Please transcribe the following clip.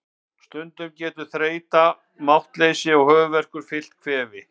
Stundum getur þreyta, máttleysi og höfuðverkur fylgt kvefi.